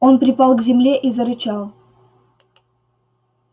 он припал к земле и зарычал